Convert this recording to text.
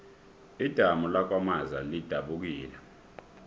idamu lakwamaza lidabukile